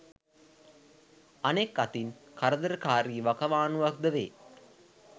අනෙක් අතින් කරදරකාරී වකවානුවක් ද වේ.